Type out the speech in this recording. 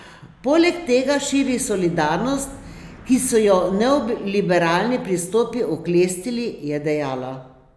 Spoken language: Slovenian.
Poleg tega širi solidarnost, ki so jo neoliberalni pristopi oklestili, je dejala.